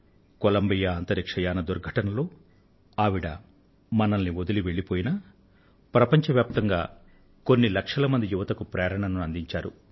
Colombia అంతరిక్ష యాన దుర్ఘటనలో ఆవిడ మనల్ని వదలి వెళ్లిపోయినప్పటికీ ప్రపంచ వ్యాప్తంగా కొన్ని లక్షల యువతకు ప్రేరణను అందించారు